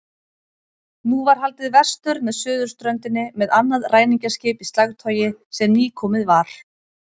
Nú var haldið vestur með suðurströndinni með annað ræningjaskip í slagtogi sem nýkomið var.